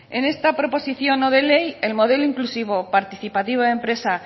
en esta proposición no de ley el modelo inclusivo participativo de empresa